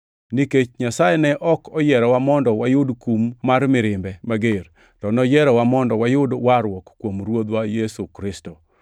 Nikech Nyasaye ne ok oyierowa mondo wayud kum mar mirimbe mager, to noyierowa mondo wayud warruok kuom Ruodhwa Yesu Kristo.